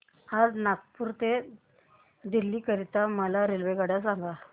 नागपुर ते दिल्ली करीता मला रेल्वेगाड्या सांगा